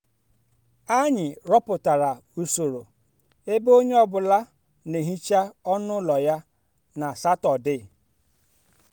anyị rụpụtara usoro ebe onye ọ bụla na-ehicha ọnụ ụlọ ya na satọde